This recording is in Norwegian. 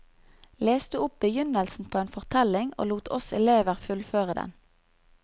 Leste opp begynnelsen på en fortelling og lot oss elever fullføre den.